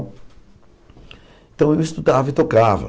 Então eu estudava e tocava.